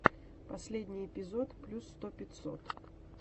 последний эпизод плюс сто пятьсот